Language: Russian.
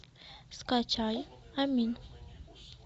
скачай амин